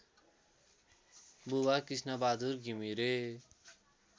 बुबा कृष्णबहादुर घिमिरे